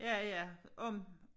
Ja ja om